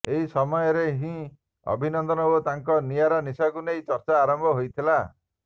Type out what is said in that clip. ଏହି ସମୟରେ ହିଁ ଅଭିନନ୍ଦନ ଓ ତାଙ୍କ ନିଆରା ନିଶକୁ ନେଇ ଚର୍ଚ୍ଚା ଆରମ୍ଭ ହୋଇଥିଲା